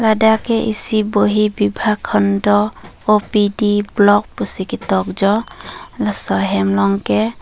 ladak ke isi bohi bibhaag hondo OPD block pisi ketok jo laso ahem along ke.